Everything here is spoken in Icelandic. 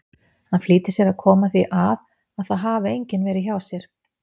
Hann flýtir sér að koma því að að það hafi enginn verið hjá sér.